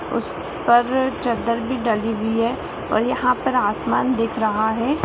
उस पर चद्दर भी डली हुई है और यहाँ पर आसमान दिख रहा है।